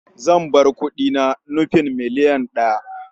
Zambar kuɗi na nufin miliyan ɗaya.